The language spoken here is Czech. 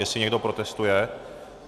Jestli někdo protestuje?